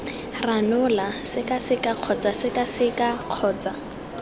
ranola sekaseka kgotsa sekaseka kgotsa